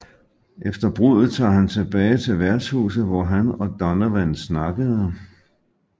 Efter bruddet tager han tilbage til værtshuset hvor han og Donovan snakkede